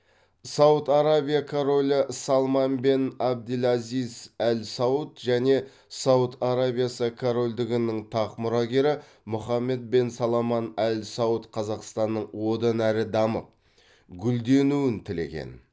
сауд арабия королі салман бен абдельазиз әл сауд және сауд арабиясы корольдігінің тақ мұрагері мұхаммед бен саламан әл сауд қазақстанның одан әрі дамып гүлденуін тілеген